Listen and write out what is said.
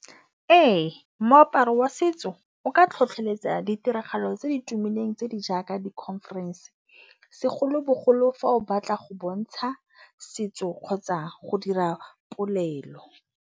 Ee, moaparo wa setso o ka tlhotlholetsa ditiragalo tse di tumileng, tse di jaaka di-conference, segolo-bogolo fa o batla go bontsha setso kgotsa go dira polelo.